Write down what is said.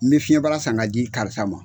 Me fiyɛn bara san ka di karisa ma.